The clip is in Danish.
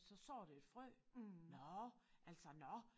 Så sår det et frø nåh altså nåh